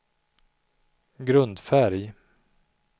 grundfärg